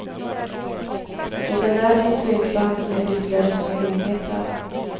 Det är däremot tveksamt med ytterligare små enheter.